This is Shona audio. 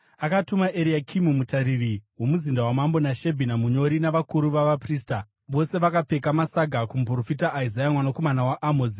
Akatuma Eriakimu mutariri womuzinda wamambo, naShebhina munyori, navakuru vavaprista, vose vakapfeka masaga, kumuprofita Isaya mwanakomana waAmozi.